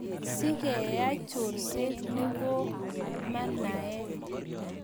Siko keai chorset no ko ma naat.